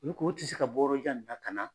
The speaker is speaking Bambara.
Ulu ko u tɛ se ka bɔ yɔrɔ jan nin na ka na